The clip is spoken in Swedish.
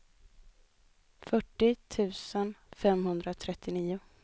fyrtio tusen femhundratrettionio